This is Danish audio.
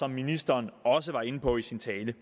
ministeren også var inde på i sin tale